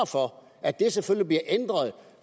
for at det selvfølgelig bliver ændret